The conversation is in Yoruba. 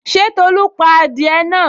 Ṣé Tolu pa adìẹ náà?